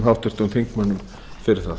háttvirtum nefndarmönnum fyrir það